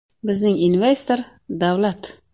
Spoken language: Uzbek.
Bizning investor – davlat.